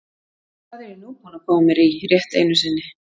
Hvað er ég nú búinn að koma mér í rétt einu sinni?